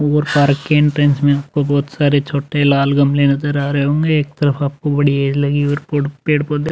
और पार्क के एन्ट्रेन्स में आपको बोहोत सारे छोटे लाल गमले नजर आ रहे होंगे। एक तो आपको बड़ी लगी और पोड़ पेड़ पौधे --